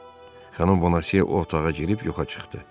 Xanım Bonase o otağa girib yoxa çıxdı.